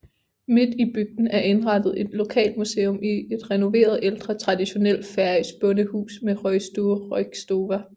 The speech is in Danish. Midt i bygden er indrettet et lokalmuseum i et renoveret ældre traditionelt færøsk bondehus med røgstue Roykstova